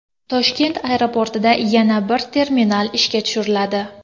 Toshkent aeroportida yana bir terminal ishga tushiriladi.